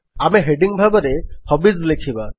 ଆମେ ହେଡିଙ୍ଗ୍ ଭାବରେ ହବିଜ୍ ଲେଖିବା